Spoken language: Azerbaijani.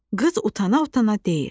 Qız utana-utana deyir.